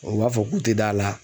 U b'a fɔ k'u te da la.